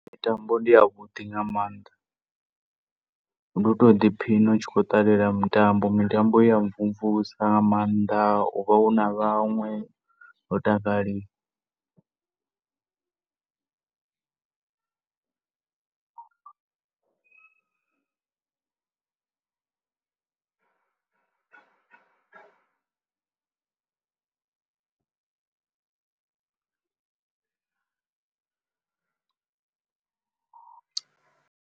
Mitambo ndi ya vhuḓi nga maanḓa. Ndu to ḓi phiṋa u tshi khou ṱalela mitambo. Mitambo i ya mvumvusa nga maanḓa u vha u na vhaṅwe ho takaliwa.